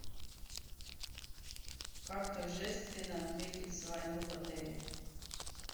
как торжественно отметить свадьбу в отеле